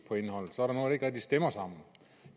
stemmer